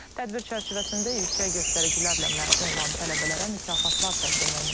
Tədbir çərçivəsində yüksək göstəricilərlə məzun olan tələbələrə mükafatlar təqdim olunub.